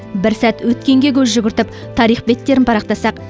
бір сәт өткенге көз жүгіртіп тарих беттерін парақтасақ